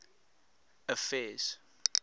affairs